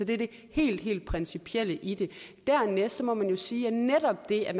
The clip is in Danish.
det er det helt helt principielle i det dernæst må man jo sige at netop det at